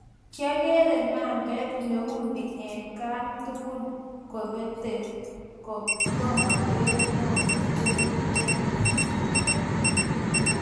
kiagere mambeet neuni at kaan tugul kobatee tomagere neo neteni eng tumndo.